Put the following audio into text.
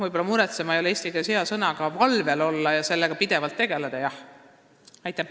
Võib-olla "muretsema" ei ole eesti keeles hea sõna, aga valvel olla ja sellega pidevalt tegeleda tuleb küll.